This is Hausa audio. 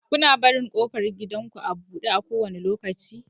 Kuna barin ƙofar gidanku a buɗe kowane lokaci?